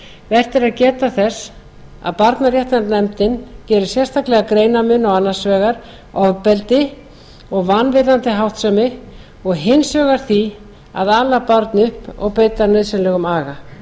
vert er að geta þess að barnaréttarnefndin gerir sérstakan greinarmun á annars vegar ofbeldi og vanvirðandi háttsemi og hins vegar því að ala barn upp og beita nauðsynlegum aga